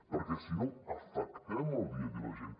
perquè si no afectem el dia a dia de la gent